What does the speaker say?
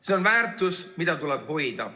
See on väärtus, mida tuleb hoida.